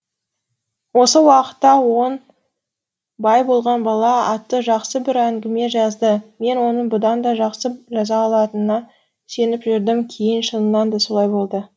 осы уақытта он бай болған бала атты жақсы бір әңгіме жазды мен оның бұдан да жақсы жаза алатынына сеніп жүрдім кейін шынында да солай болды